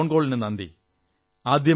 താങ്കളുടെ ഫോൺ കോളിനു നന്ദി